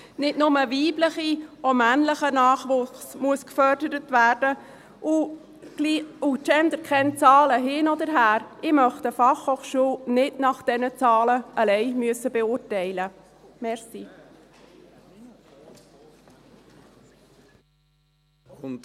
Nicht nur weiblicher, auch männlicher Nachwuchs muss gefördert werden, und GenderKennzahlen hin oder her: Ich möchte eine Fachhochschule nicht allein nach diesen Zahlen beurteilen müssen.